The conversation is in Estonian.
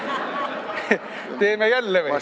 Teeme jälle või?